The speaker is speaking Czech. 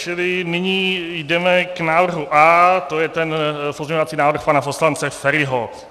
Čili nyní jdeme k návrhu A, to je ten pozměňovací návrh pana poslance Feriho.